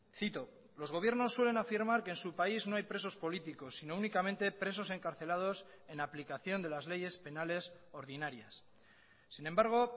cito los gobiernos suelen afirmar que en su país no hay presos políticos sino únicamente presos encarcelados en aplicación de las leyes penales ordinarias sin embargo